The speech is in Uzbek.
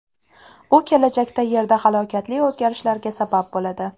U kelajakda Yerda halokatli o‘zgarishlarga sabab bo‘ladi.